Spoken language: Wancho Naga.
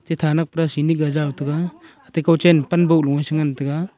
athe thanak seni ga jaw tega ate kawchen panbo loe chengan taiga.